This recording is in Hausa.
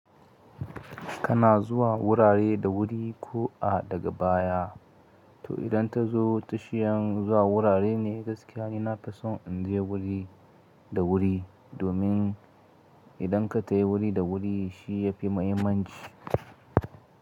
Kana zuwa wurare da wuri ko a daga baya. To idan ta zo tashin zuwa wurare ne gaskiya ni nafi son in je wuri da wuri. Domin idan ka tayi wuri da wuri shi ya fi mahimmanci.